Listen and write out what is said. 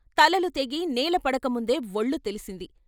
తలలు తెగి నేల పడకముందే వొళ్ళు తెలిసింది.